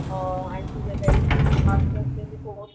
अ आणखी जे काही फुल्ल हाफ कोर्स जे पुस्तक